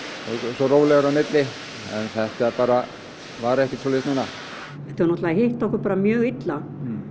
svo rólegra á milli það bara var ekkert svoleiðis núna þetta hefur hitt okkur bara mjög illa